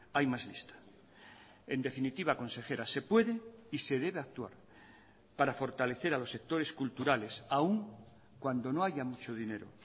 hay más lista en definitiva consejera se puede y se debe actuar para fortalecer a los sectores culturales aún cuando no haya mucho dinero